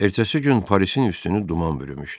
Ertəsi gün Parisin üstünü duman bürümüşdü.